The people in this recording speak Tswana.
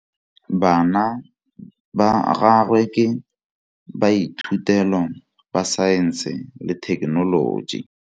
Bana ba gagwe ke baithutêlô ba Saense le Thekenoloji.